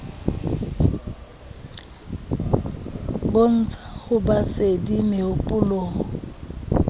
bontsha ho ba sedi mehopolong